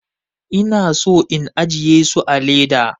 Ina son in ajiye su a leda.